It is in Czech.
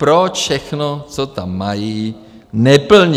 Proč všechno, co tam mají, neplní?